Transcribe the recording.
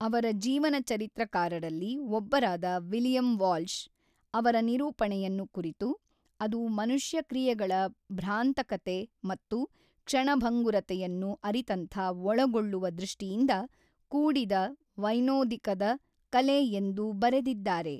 ಅವರ ಜೀವನಚರಿತ್ರಕಾರರಲ್ಲಿ ಒಬ್ಬರಾದ ವಿಲಿಯಂ ವಾಲ್ಷ್, ಅವರ ನಿರೂಪಣೆಯನ್ನು ಕುರಿತು, ಅದು ಮನುಷ್ಯ ಕ್ರಿಯೆಗಳ ಭ್ರಾಂತಕತೆ ಮತ್ತು ಕ್ಷಣಭಂಗುರತೆಯನ್ನು ಅರಿತಂಥ ಒಳಗೊಳ್ಳುವ ದೃಷ್ಟಿಯಿಂದ ಕೂಡಿದ ವೈನೋದಿಕದ ಕಲೆ ಎಂದು ಬರೆದಿದ್ದಾರೆ.